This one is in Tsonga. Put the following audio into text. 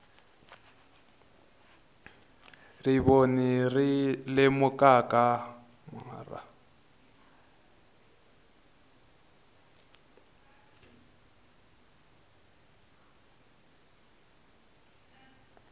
rivoni ri lumekakamara